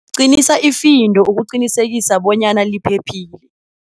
Qinisa ifindo ukuqinisekisa bonyana liphephile.